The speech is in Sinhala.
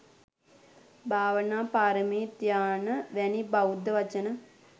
භාවනා පාරමී, ධ්‍යාන වැනි බෞද්ධ වචන